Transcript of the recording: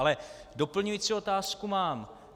Ale doplňující otázku mám.